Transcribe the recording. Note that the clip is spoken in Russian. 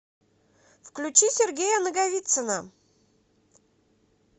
включи сергея наговицына